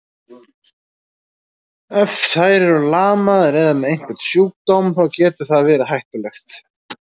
Ef þær eru lamaðar eða með einhvern sjúkdóm, þá getur það verið hættulegt.